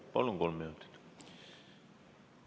Palun, kolm minutit!